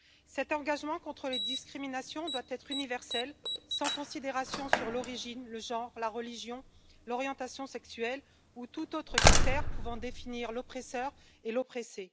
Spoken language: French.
Cet engagement contre les discriminations doit être universel, sans considération sur l'origine, le genre, la religion, l'orientation sexuelle ou tout autre critère pouvant définir l'oppresseur et l'oppressé.